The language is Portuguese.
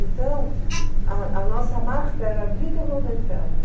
Então, a a nossa marca era Vitor Lowenfeld.